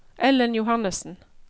Ellen Johannesen